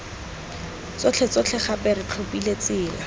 tsotlhetsotlhe gape re tlhophile tsela